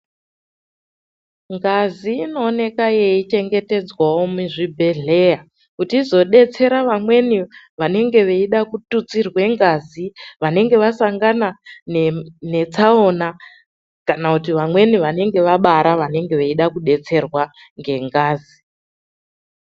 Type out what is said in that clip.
Ngazi inooneka yeichengetedzwawo muzvibhedhleya kuti izobetsere vamweni vanenge vachida kututsirwe ngazi, vanenge vasangana netsaona, kana kuti vamweni vanenge vabara vanenge veida kubetserwa ngengazi.